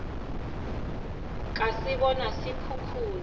ka se bona se khukhuna